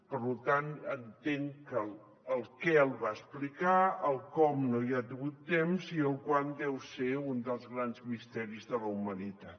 per tant entenc que el què el va explicar el com no n’ha tingut temps i el quan deu ser un dels grans misteris de la humanitat